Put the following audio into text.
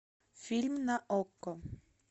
фильм на окко